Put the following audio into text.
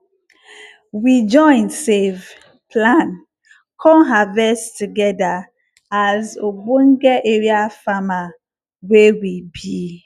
we join save plan con harvest togedir as obonge area farmer wey we be